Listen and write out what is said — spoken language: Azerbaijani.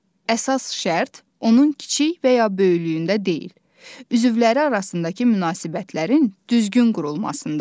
Əsas şərt onun kiçik və ya böyüklüyündə deyil, üzvləri arasındakı münasibətlərin düzgün qurulmasındadır.